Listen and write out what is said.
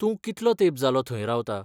तूं कितलो तेंप जालो थंय रावता?